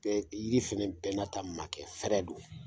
Tɛ yiri fana bɛɛ n'a ta makɛ fɛɛrɛ don